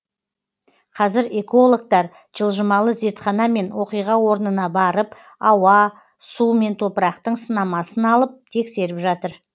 қазір экологтар жылжымалы зертханамен оқиға орнына барып ауа су мен топырақтың сынамасын алып тексеріп жатыр